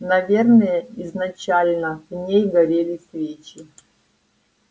наверное изначально в ней горели свечи